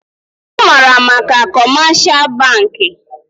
Ọ maara maka kọmeshal bankị